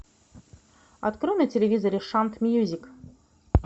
открой на телевизоре шант мьюзик